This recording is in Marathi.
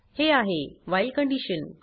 हे आहे व्हाईल कंडिशन